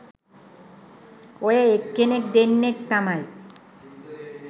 ඔය එක්කෙනෙක් දෙන්නෙක් තමයි